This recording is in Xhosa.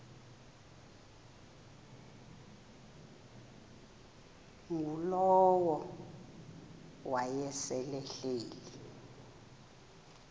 ngulowo wayesel ehleli